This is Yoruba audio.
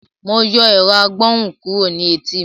Mo yọ ẹ̀rọ-agbohùn kúrò ní etí mi.